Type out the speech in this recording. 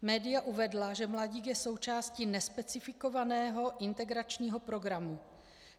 Média uvedla, že mladík je součástí nespecifikovaného integračního programu.